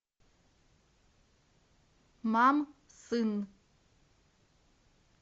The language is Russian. мам сын